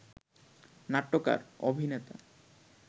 নাট্যকার, অভিনেতা